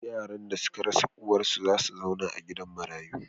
Yaran da suka rasa uwarsu za su zauna a gidan marayu.